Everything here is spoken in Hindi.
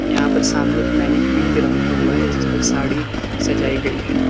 यहां पर सामने मैनिक्विन भी रखा हुआ है जिसपे साड़ी सजाई गई है।